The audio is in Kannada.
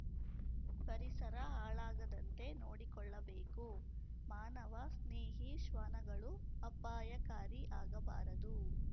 ಪರಿಸರ ಹಾಳಾಗದಂತೆ ನೋಡಿಕೊಳ್ಳಬೇಕು ಮಾನವ ಸ್ನೇಹಿ ಶ್ವಾನಗಳು ಅಪಾಯಕಾರಿ ಆಗಬಾರದು